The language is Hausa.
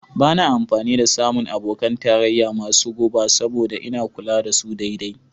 Ba na amfani da samun abokan tarayya masu guba saboda ina kula da su daidai.